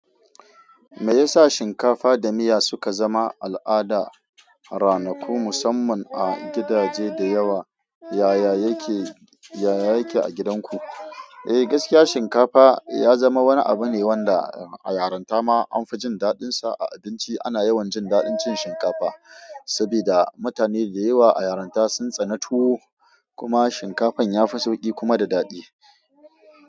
Me yasa shinkafa da miya suka zama al'ada a ranaku, musamman a gidaje da yawa, yaya yake a gidanku? Eh, gaskiya shinkafa ya zama wani abu ne wanda a yarinta ma an fi jin daɗinsa. A abinci ana yawan jin daɗin cin shinkafa saboda mutane da yawa a yarinta sun tsane tuwo, kuma shinkafan ya fi sauƙi kuma da daɗi.